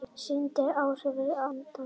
Sýndi áhorfendum afturendann